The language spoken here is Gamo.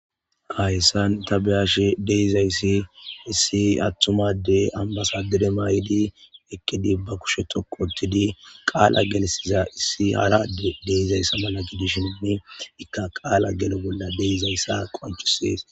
Hayisan ta be'ashe dizayis issi adusa adey abasadere mayidi bakushe dhoqu qala gelisiza issi cala ade matizaysa eka qala gelo bolla deizaya qoncises